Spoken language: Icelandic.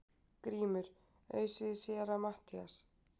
GRÍMUR: Ausið í Séra Matthías!